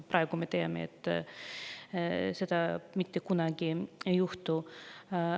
Praegu me teame, et seda mitte kunagi ei juhtu.